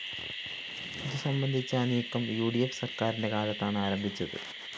ഇതു സംബന്ധിച്ച നീക്കം ഉ ഡി ഫ്‌ സര്‍ക്കാരിന്റെ കാലത്താണ് ആരംഭിച്ചത്